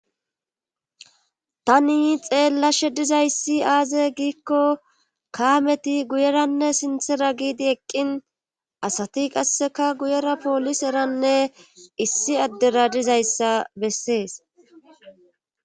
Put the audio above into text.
Tani xeellashshe dizayssi aaze giikko kaameti guyeranne sinththera giidi eqqin asati qasseka guyera pooliseranne issi addera dizayssa bessees